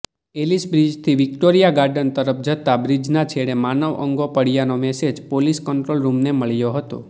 એલિસબ્રિજથી Victoria garden તરફ જતાં બ્રિજના છેડે માનવ અંગો પડયાનો મેસેજ પોલીસ કંટ્રોલરૂમને મળ્યો હતો